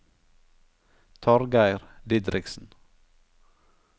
Torgeir Didriksen